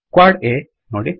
quad ಆ ನೋಡಿ